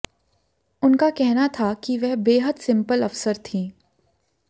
उनका कहना था कि वह बेहद सिंपल अफसर थीं